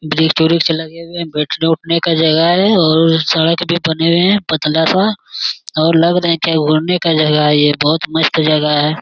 बृक्ष - उरिक्ष लगे हुए हैं बेठने-उठने का जगह है और सड़क भी बने हुए हैं पतला सा और लग रहे हैं क्या घूरने का जगह है ये बहुत मस्त जगह है।